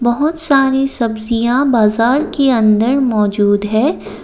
बहोत सारे सब्जियां बाजार के अंदर मौजूद है।